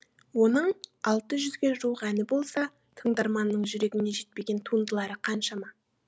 оның алты жүзге жуық әні болса тыңдарманның жүрегіне жетпеген туындылары қаншама